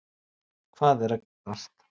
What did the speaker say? Hvað er að gerast